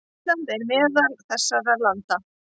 Ísland er meðal þessara landa.